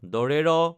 ড়